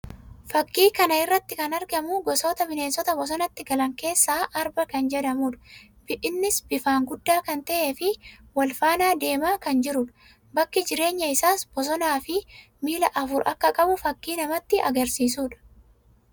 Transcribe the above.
Fakkii kaa irratti kan argamu gosoota bineensota bosonatti gala keessaa Arba kan jedhamuu dha. Innis bifaan guddaa kan ta'ee fi wal faana deemaa kan jiruu dha. Bakki jireenya isàas bosonaa fi miilla afur akka qabu fakkii namatti agarsiisuudha.